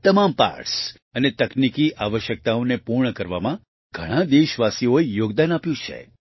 તમામ પાર્ટસ અને તકનીકી આવશ્યકતાઓને પૂર્ણ કરવામાં ઘણા દેશવાસીઓએ યોગદાન આપ્યું છે